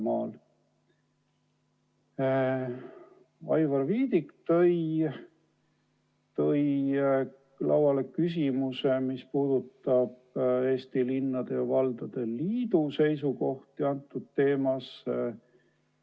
Aivar Viidik tõi lauale küsimuse, mis puudutab Eesti Linnade ja Valdade Liidu seisukohti selles küsimuses.